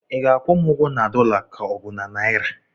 ị ga-akwụ m ụgwọ na dọla ka ọ bụ naịra?